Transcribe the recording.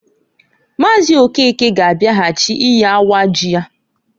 Maazi Okeke ga abiaghachi iyi awa ji ya.